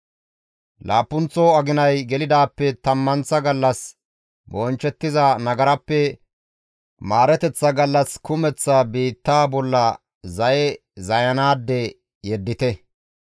Laappunththo aginay gelidaappe tammanththa gallas bonchchettiza nagarappe maareteththa gallas kumeththa biittaa bolla zaye zayanaade yeddite.